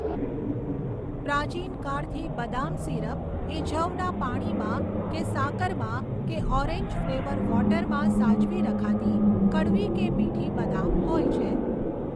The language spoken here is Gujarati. પ્રાચીનકાળથી બદામ સિરપ એ જવના પાણીમાં કે સાકરમાં કે ઓરેન્જ ફ્લેવર વૉટરમાં સાચવી રખાતી કડવી કે મીઠી બદામ હોય છે.